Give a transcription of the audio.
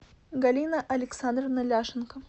галина александровна ляшенко